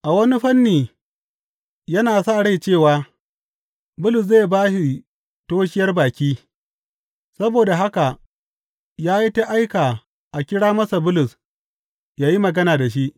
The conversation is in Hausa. A wani fanni yana sa rai cewa Bulus zai ba shi toshiyar baki, saboda haka ya yi ta aika a kira masa Bulus yă yi magana da shi.